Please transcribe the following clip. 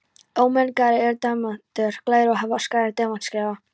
Ómengaðir eru demantar glærir og hafa skæran demantsgljáa.